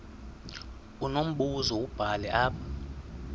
unombuzo wubhale apha